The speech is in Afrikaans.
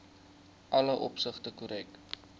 alle opsigte korrek